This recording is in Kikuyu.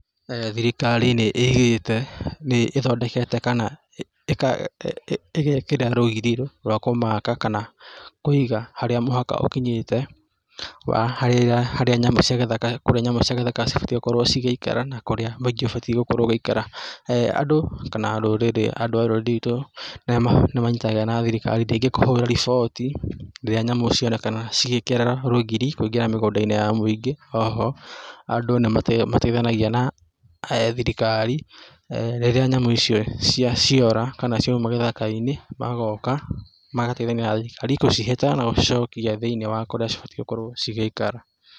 Thirikari nĩĩigĩte, nĩthondekĩte kana ĩgekĩra rũgiri rwa kũmaka kana kũiga harĩa mũhaka ũkinyĩte wa harĩa nyamũ cia gĩthaka kũrĩa nyamũ cia gĩthaka cibatie gũkorwo cigĩikara na kũrĩa cikĩbatie gũikara andũ kana rũrĩrĩ andũ a rũrĩrĩ ruitũ nĩ manyitanagĩra na thirikari kũhũra riboti rĩrĩa nyamũ cionekana cigĩkĩra rũgiri kũingĩra mũgũnda-inĩ ya mũingĩ oho andũ nĩmateithanagia na thirikari rĩrĩa nyamũ icio ciora kana ciaumaa gĩthaka -inĩ magoka magateithania na thirikari gũcihĩta na gũcicokia thĩini wa kũrĩa cibatiĩ gũkorwo cigĩikara.